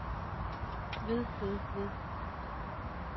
ved ved ved